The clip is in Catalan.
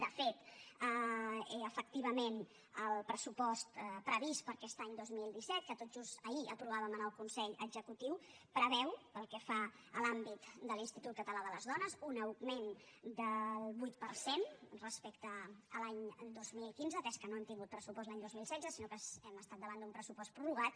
de fet efectivament el pressupost previst per a aquest any dos mil disset que tot just ahir aprovàvem en el consell executiu preveu pel que fa a l’àmbit de l’institut català de les dones un augment del vuit per cent respecte a l’any dos mil quinze atès que no hem tingut pressupost l’any dos mil setze sinó que hem estat davant d’un pressupost prorrogat